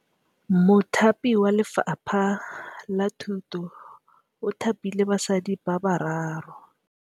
Mothapi wa Lefapha la Thutô o thapile basadi ba ba raro.